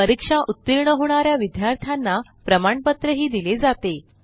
परीक्षा उत्तीर्ण होणा या विद्यार्थ्यांना प्रमाणपत्रही दिले जाते